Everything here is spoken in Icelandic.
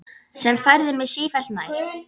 Sem færði mig sífellt nær